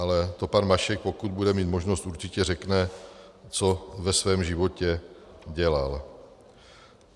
Ale to pan Mašek, pokud bude mít možnost, určitě řekne, co ve svém životě dělal.